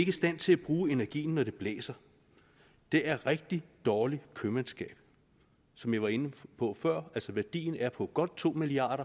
i stand til at bruge energien når det blæser det er rigtig dårligt købmandskab som jeg var inde på før altså værdien er på godt to milliard